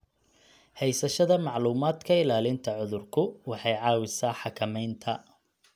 Haysashada macluumaadka ilaalinta cudurku waxay caawisaa xakamaynta.